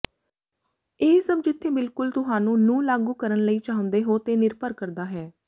ਇਹ ਸਭ ਜਿੱਥੇ ਬਿਲਕੁਲ ਤੁਹਾਨੂੰ ਨੂੰ ਲਾਗੂ ਕਰਨ ਲਈ ਚਾਹੁੰਦੇ ਹੋ ਤੇ ਨਿਰਭਰ ਕਰਦਾ ਹੈ